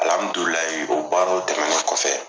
Alamidulilayi, o baaraw dɛmɛnen kɔfɛ